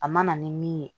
A mana ni min ye